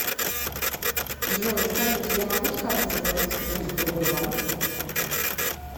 джой скажите я могу с карты заплатить кредит в другой банк